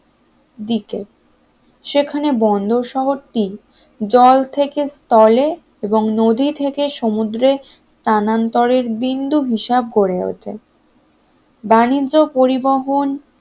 দিকে সেখানে বন্দর শহরটি জল থেকে স্থলে, এবং নদী থেকে সমুদ্রে স্থানান্তরের বিন্দু হিসাব করে ওঠে বাণিজ্য পরিবহন